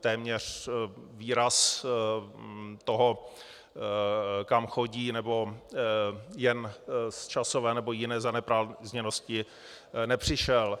téměř výraz toho, kam chodí, nebo jen z časové nebo jiné zaneprázdněnosti, nepřišel.